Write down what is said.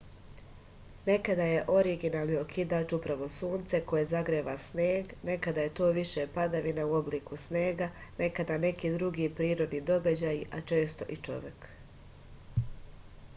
nekada je originalni okidač upravo sunce koje zagreva sneg nekada je to više padavina u obliku snega nekada neki drugi prirodni događaji a često i čovek